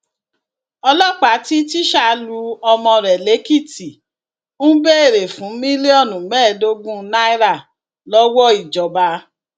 ọlọpàá tí tísá lu ọmọ rẹ lèkìtì ń béèrè fún mílíọnù mẹẹẹdógún náírà lọwọ ìjọba